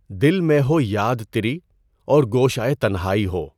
دل میں ہو یاد تری اور گوشئہ تنہائی ہو